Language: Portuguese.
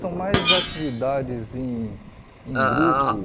São mais atividades em em grupo.